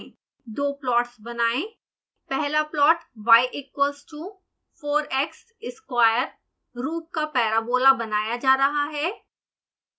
दो प्लॉट्स बनाएं पहला plot y equals to 4x square रूप का parabola बनाया जा रहा है